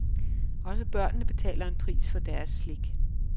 Også børnene betaler en pris for deres slik.